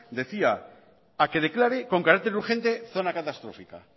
decía a que declare con carácter urgente zona catastrófica